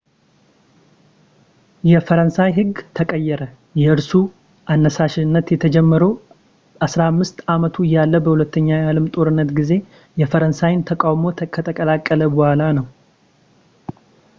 የፈረንሳይ ህግ ተቀየረ የእርሱ አነሳሽነት የተጀመረው 15 አመቱ እያለ በሁለተኛው የአለም ጦርነት ጊዜ የፈረንሳይን ተቃውሞ ከተቀላቀለ በኃላ ነው